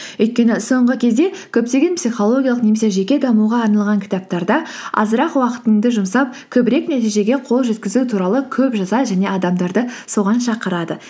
өйткені соңғы кезде көптеген психологиялық немесе жеке дамуға арналған кітаптарда азырақ уақытыңды жұмсап көбірек нәтижеге қол жеткізу туралы көп жазады және адамдарды соған шақырады